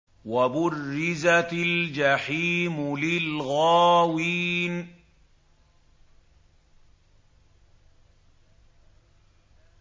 وَبُرِّزَتِ الْجَحِيمُ لِلْغَاوِينَ